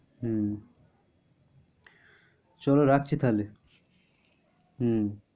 হম চল রাখছি তাহলে। হম